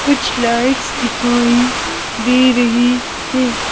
कुछ लाइट्स दिखाई दे रही हैं।